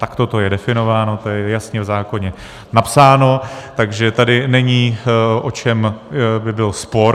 Takto to je definováno, to je jasně v zákoně napsáno, takže tady není, o čem by byl spor.